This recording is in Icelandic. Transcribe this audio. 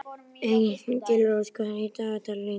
Engilrós, hvað er í dagatalinu í dag?